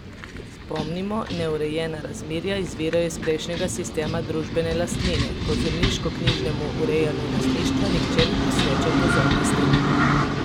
Spomnimo, neurejena razmerja izvirajo iz prejšnjega sistema družbene lastnine, ko zemljiškoknjižnemu urejanju lastništva nihče ni posvečal pozornosti.